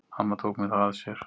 Amma tók mig þá að sér.